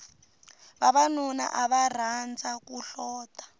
vavanuna ava rhandza ku hlota